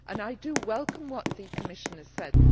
I welcome what the Commissioner said.